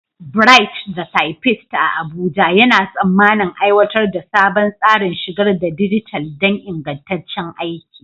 Bright, the Typist a Abuja, yana tsammanin aiwatar da sabon tsarin shigar da dijital don ingantaccen aiki.